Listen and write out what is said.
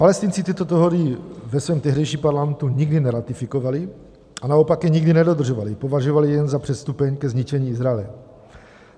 Palestinci tyto dohody ve svém tehdejším parlamentu nikdy neratifikovali a naopak je nikdy nedodržovali, považovali je jen za předstupeň ke zničení Izraele.